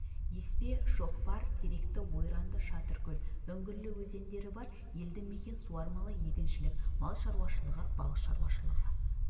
еспе шоқпар теректі ойранды шатыркөл үңгірлі өзендері бар елді-мекен суармалы егіншілік мал шаруашылығы балық шаруашылығы